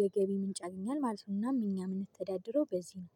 የገቢ ምንጭ ያገኛል ማለት ነው። እናም እኛ ምንተዳደረው በዚህ ነው።